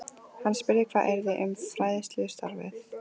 Hann spurði hvað yrði um fræðslustarfið.